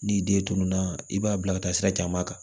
N'i den tununna i b'a bila ka taa sira caman kan